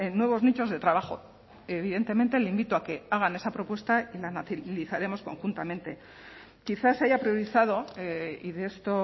nuevos nichos de trabajo evidentemente le invito a que hagan esa propuesta y la analizaremos conjuntamente quizás haya priorizado y de esto